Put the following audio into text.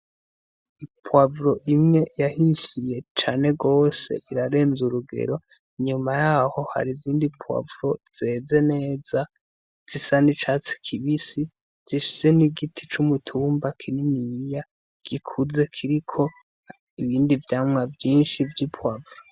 Ipuwavuro imwe yahishiye cane gose irarenza urugero, nyuma yaho hari izindi puwavuro zeze neza zisa n' icatsi kibisi zifise n'igiti cumutumba kininiya gikuze kiriko ibindi vyamwa vyinshi vy'ipuwavuro.